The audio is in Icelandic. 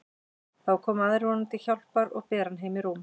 Þá koma aðrir honum til hjálpar og bera hann heim í rúm.